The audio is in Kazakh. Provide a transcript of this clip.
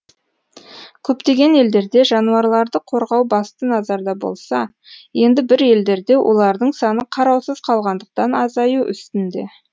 көптеген елдерде жануарларды қорғау басты назарда болса енді бір елдерде олардың саны қараусыз қалғандықтан азаю үстінде